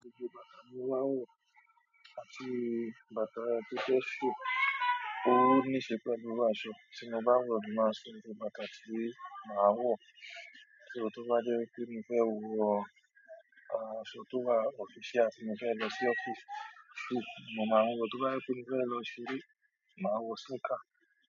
Iṣẹ́ bàtà ni mo máa ń wọ àti bàtà péṣé sì. Ó má ní ṣe pẹ̀lú irú aṣọ, tí mo bá ń wọ̀, ni ó máa sọ ní irú, "bàtà tí màá wọ̀." kí ó tó bá dẹ́ pé mi fẹ́ wọ, a, aṣọ tó wà official, tí mo fẹ́ lọ sí ọ́fíìsì, mo máa ń wọ̀, tó bá yẹ pé mó fẹ́ lọ ṣeré, màá wọ sneaker.